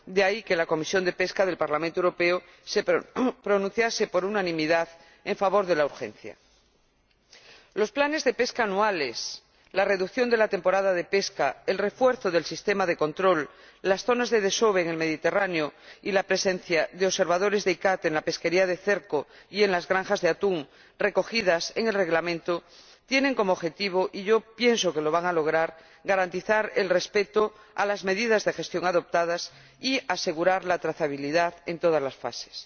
De ahí que la Comisión de Pesca del Parlamento Europeo se pronunciase, por unanimidad, en favor de la urgencia. Los planes de pesca anuales, la reducción de la temporada de pesca, el refuerzo del sistema de control, las zonas de desove en el Mediterráneo y la presencia de observadores de la CICAA en la pesquería de cerco y en las granjas de atún recogidos en el Reglamento tienen como objetivo y pienso que lo van a lograr garantizar el respeto de las medidas de gestión adoptadas y asegurar la trazabilidad en todas las fases.